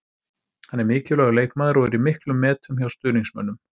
Hann er mikilvægur leikmaður og er í miklum metum hjá stuðningsmönnum.